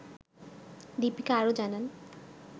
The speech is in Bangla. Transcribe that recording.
দিপিকা আরও জানান